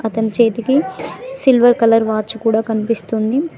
ఇతని చేతికి silver colour watch కూడా కనిపిస్తుంది.